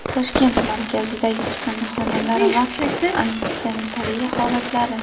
Toshkent markazidagi chiqindixonalar va antisanitariya holatlari.